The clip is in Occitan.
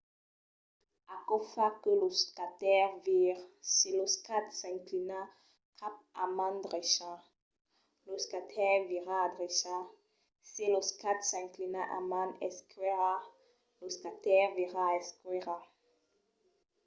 aquò fa que lo skater vire. se lo skate s'inclina cap a man drecha lo skater vira a drecha se lo skate s'inclina a man esquèrra lo skater vira a esquèrra